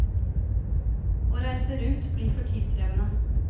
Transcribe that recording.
Å reise rundt blir for tidkrevende.